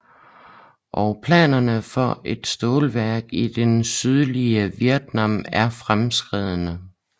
Og planerne for et stålværk i det sydlige Vietnam er fremskredne